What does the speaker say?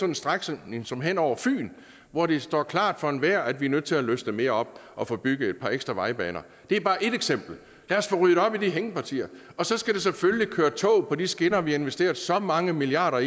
en strækning som den hen over fyn hvor det står klart for enhver at vi er nødt til at løsne mere op og få bygget et par ekstra vejbaner det er bare ét eksempel lad os få ryddet op i de hængepartier så skal der selvfølgelig køre tog på de skinner vi har investeret så mange milliarder